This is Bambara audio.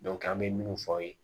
an bɛ mun fɔ aw ye